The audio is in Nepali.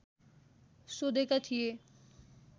सोधेका थिए